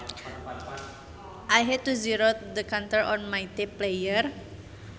I had to zero the counter on my tape player